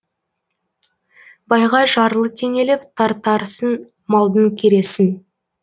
байға жарлы теңеліп тартарсың малдың кересін